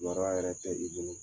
Kibaruya yɛrɛ tɛ i bolo